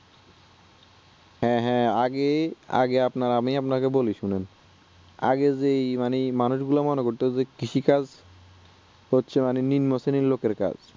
হ্যাঁ হ্যাঁ আগে আগে আপনার আমি আপনাকে বলি শুনুন আগের যেই ই মানুষ গুলো মারা যেত কৃষিকাজ হচ্ছে মানে নিম্ন শ্রেণীর লোকের কাজ